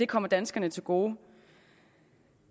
kommer danskerne til gode